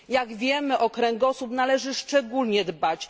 Jak wiemy, o kręgosłup należy szczególnie dbać.